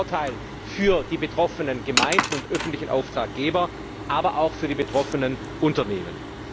Das ist ein Vorteil für die betroffenen Gemeinden und öffentlichen Auftraggeber, aber auch für die betroffenen Unternehmen.